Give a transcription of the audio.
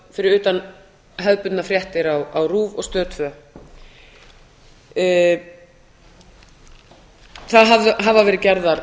fyrir utan hefðbundnar fréttir á rúv og stöð annað það hafa verið gerðar